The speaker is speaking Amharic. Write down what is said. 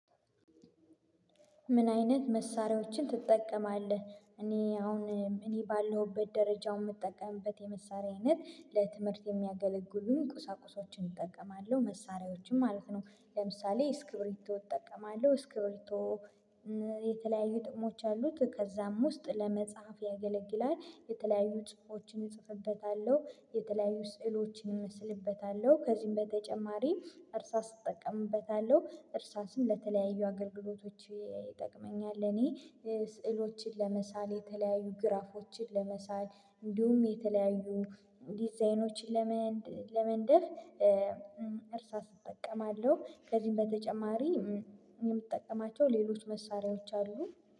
ምን አይነት መሳሪያዎችን ትጠቀማለህ? እኔ አሁን እኔ ባለሁበት ደረጃው የምጠቀምበት የመሳሪያ አይነት ለትምህርት የሚያገለግሉን ቁሳቁሶችን እጠቀማለሁ መሳሪያዎችም ማለት ነው። ለምሳሌ እስክብሪቶ እጠቀማለሁ እስክብሪቶ የተለያዩ ጥቅሞች አሉት። ከዛም ውስጥ ለመጽሐፍ ያገለግላል የተለያዩ ጽሁፎችን እጽፍበታለሁ የተለያዩ ስዕሎችን እመስልበታለሁ። ከዚህም በተጨማሪ እርሳስ እጠቀምበታለሁ እርሳስም ለተለያዩ አገልግሎቶች ይጠቅመኛል። እኔ ስዕሎችን ለመሳል የተለያዩ ግራፎችን ለመሳል እንዲሁም የተለያዩ ዲዛይኖችን ለመንደፍ እርሳስ እጠቀማለሁ። ከዚህም በተጨማሪ የምጠቀማቸው ሌሎች መሳሪያዎች አሉ